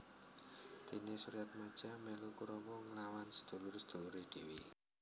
Dene Suryatmaja melu Kurawa nglawan sedulur sedulure dhewe